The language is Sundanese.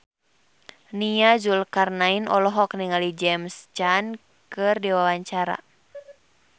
Nia Zulkarnaen olohok ningali James Caan keur diwawancara